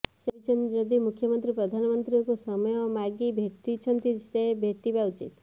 ସେ କହିଛନ୍ତି ଯଦି ମୁଖ୍ୟମନ୍ତ୍ରୀ ପ୍ରଧାନମନ୍ତ୍ରୀଙ୍କୁ ସମୟ ମାଗି ଭେଟିଛନ୍ତି ସେ ଭେଟିବା ଉଚିତ